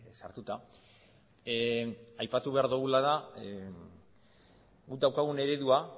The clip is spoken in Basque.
sartuta aipatu behar duguna da guk daukagun eredua